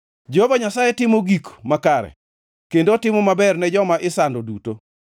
Jehova Nyasaye timo gik makare kendo otimo maber ne joma isando duto.